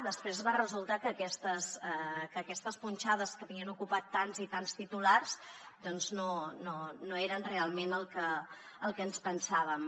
després va resultar que aquestes punxades que havien ocupat tants i tants titulars doncs no eren realment el que ens pensàvem